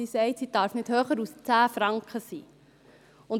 Sie sagt, dass die Nothilfe nicht höher als 10 Franken sein darf.